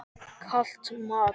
Kalt mat?